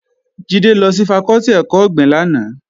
Jídé lọ sí fakọ́tì ẹ̀kọ́ ọ̀gbìn lánàá